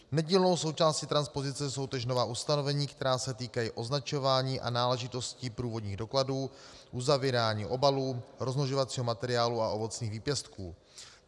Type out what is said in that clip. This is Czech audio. Nedílnou součástí transpozice jsou též nová ustanovení, která se týkají označování a náležitostí průvodních dokladů, uzavírání obalů, rozmnožovacího materiálu a ovocných výpěstků.